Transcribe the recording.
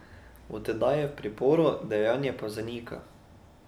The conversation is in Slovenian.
Od tedaj je v priporu, dejanje pa zanika.